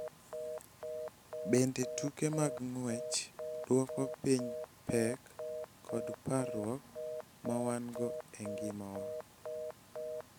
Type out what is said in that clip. Bende, tuke mag ng�wech dwoko piny pek kod parruok ma wan-go e ngima wa.